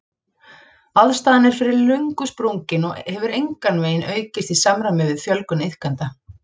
Aðstaðan er fyrir löngu sprungin og hefur engan veginn aukist í samræmi við fjölgun iðkenda.